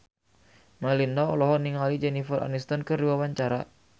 Melinda olohok ningali Jennifer Aniston keur diwawancara